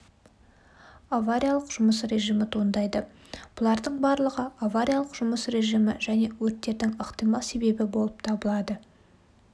авариялық жұмыс режимі туындайды бұлардың барлығы авариялық жұмыс режимі және өрттердің ықтимал себебі болып табылады